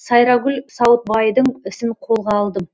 сайрагүл сауытбайдың ісін қолға алдым